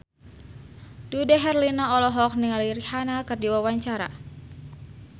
Dude Herlino olohok ningali Rihanna keur diwawancara